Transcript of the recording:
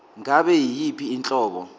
ngabe yiyiphi inhlobo